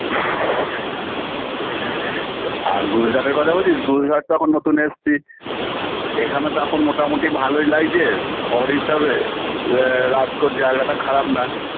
BREATHE আর গুজরাটের কথা বলছিস গুজরাট তো এখন নতুন এসছি এখানে তো এখন মোটামুটি ভালই লাগছে শহর হিসেবে আ রাজকোট জায়গাটা খারাপ না